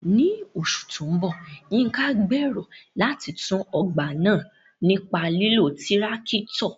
Ní oṣù tó ń bọ̀, Yinka gn bèrò láti tú ọgbà náà nípa lílo tirakito.